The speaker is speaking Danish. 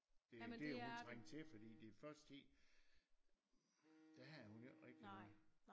Det det har hun trængt til fordi den første tid der havde hun jo ikke noget